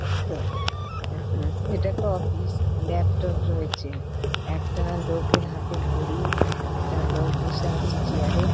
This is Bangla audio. একটা এটা একটা অফিস । ল্যাপটপ রয়েছে একটা লোকের হাতে ঘড়ি একটা লোক বসে আছে চেয়ার এ--